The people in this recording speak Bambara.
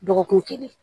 Dɔgɔkun kelen